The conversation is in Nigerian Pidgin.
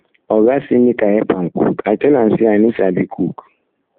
oga say make i help am cook i tell am say i no sabi sabi cook